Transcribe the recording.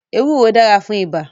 Ewúro dára fún ibà